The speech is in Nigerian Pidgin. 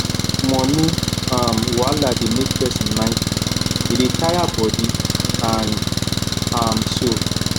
money um wahala dey make person mind full e dey tire body and um soul